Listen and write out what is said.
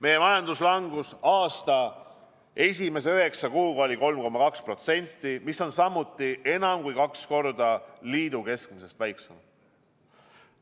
Meie majanduslangus aasta esimese üheksa kuuga oli 3,2%, mis on samuti enam kui kaks korda liidu keskmisest väiksem.